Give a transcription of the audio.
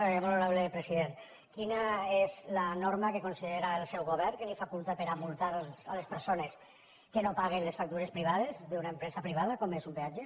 molt honorable president quina és la norma que considera el seu govern que el faculta per multar les persones que no paguen les factures privades d’una empresa privada com és un peatge